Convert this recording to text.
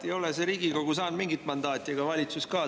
Ei ole Riigikogu saanud mingit mandaati ega valitsus ka.